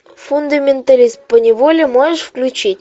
фундаменталист по неволе можешь включить